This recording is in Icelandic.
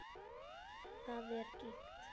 Hvað er gigt?